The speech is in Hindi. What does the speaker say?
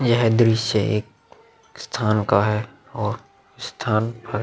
यहाँ दृश्य एक स्थान का है और स्थान पर --